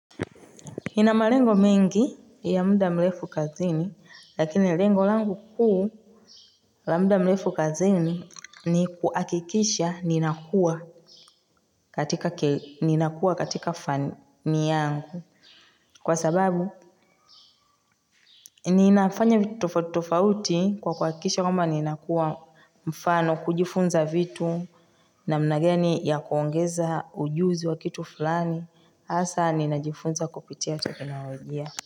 Inamalengo mengi ya muda mlefu kazini lakini lengo langu kuu la mda mlefu kazini ni kuakikisha ninakua katika fani yangu kwa sababu ninafanya tofauti kwa kuakikisha kwamba ninakua mfano kujifunza vitu namna gani ya kuongeza ujuzi wa kitu fulani hasa ninajifunza kupitia teknolojia.